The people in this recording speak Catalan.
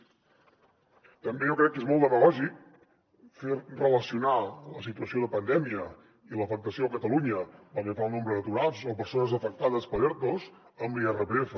també jo crec que és molt demagògic relacionar la situació de pandèmia i l’afectació a catalunya pel que fa al nombre d’aturats o persones afectades per ertos amb l’irpf